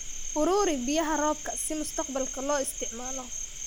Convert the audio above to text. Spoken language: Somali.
Uruuri biyaha roobka si mustaqbalka loo isticmaalo.